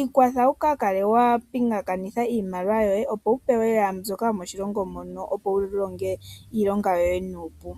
ikwatha wu kale wa pingakanitha iimaliwa yoye opo wu pewe mbyoka yomoshilongo moka, opo wu longe iilonga yoye nuupu.